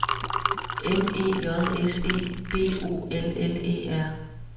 M E J S E B O L L E R